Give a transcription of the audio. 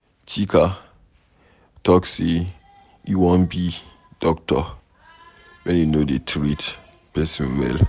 Chika talk say e wan be doctor wen he no dey treat person well.